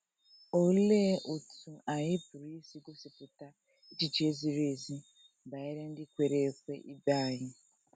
Olee otú anyị pụrụ isi gosipụta echiche ziri ezi banyere ndị kwere ekwe ibe anyị?